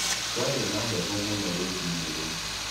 Kwarĩ na heho mũno rũcinĩ rũu.